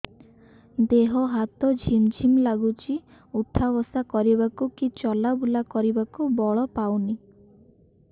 ଦେହେ ହାତ ଝିମ୍ ଝିମ୍ ଲାଗୁଚି ଉଠା ବସା କରିବାକୁ କି ଚଲା ବୁଲା କରିବାକୁ ବଳ ପାଉନି